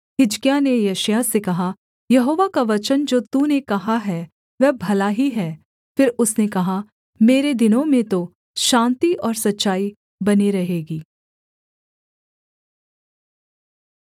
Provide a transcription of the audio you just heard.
हिजकिय्याह ने यशायाह से कहा यहोवा का वचन जो तूने कहा है वह भला ही है फिर उसने कहा मेरे दिनों में तो शान्ति और सच्चाई बनी रहेगी